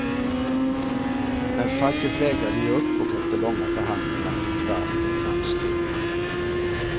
Men facket vägrade ge upp och efter långa förhandlingar fick varvet en chans till.